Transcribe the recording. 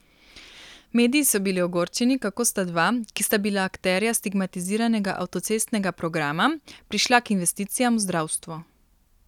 Mediji so bili ogorčeni, kako sta dva, ki sta bila akterja stigmatiziranega avtocestnega programa, prišla k investicijam v zdravstvo.